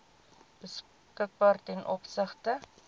beskikbaar ten opsigte